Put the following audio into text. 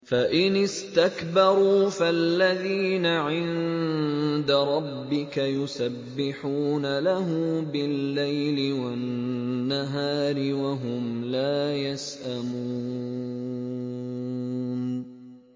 فَإِنِ اسْتَكْبَرُوا فَالَّذِينَ عِندَ رَبِّكَ يُسَبِّحُونَ لَهُ بِاللَّيْلِ وَالنَّهَارِ وَهُمْ لَا يَسْأَمُونَ ۩